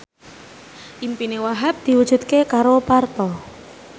impine Wahhab diwujudke karo Parto